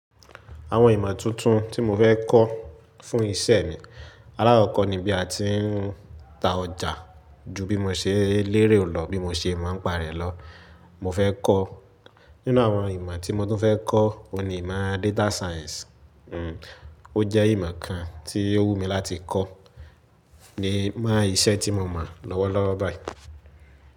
Àwọn ìmọ̀ tuntun tí mo fẹ́ kọ́ fún ìṣe mi, alákọ̀kọ́ ni bí a ti ń ta ọjà ju bí mo ṣe lérè lọ, bí mo ṣe máa ń pàrọ̀ lọ. Mo fẹ́ kọ́ nínú àwọn ìmọ̀ tí mo tún fẹ́ kọ́, òun ni ìmọ̀ data science. O jẹ́ ìmọ̀ kan tí ó wùnmi mí láti kọ́ ni mọ́ ìṣe tí mo mọ̀ lọ́wọ́ lọ́wọ́ báyìí.